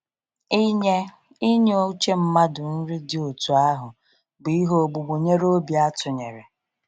Inye Inye uche mmadụ nri dị otú ahụ bụ ihe ogbugbu nyere obi atụnyere.